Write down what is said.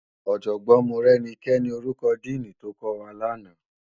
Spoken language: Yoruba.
Òjògbòn Morenike ni órúkò dìní tókòwá làná